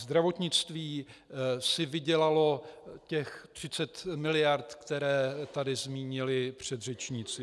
Zdravotnictví si vydělalo těch 30 miliard, které tady zmínili předřečníci.